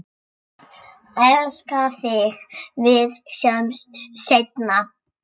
Elska þig, við sjáumst seinna.